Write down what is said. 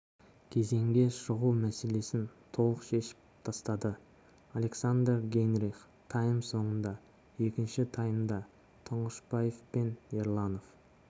кезеңге шығу мәселесін толық шешіп тастады александр гейнрих тайм соңында екінші таймда тұңғышбаев пен ерланов